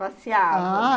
Passeavam? ah...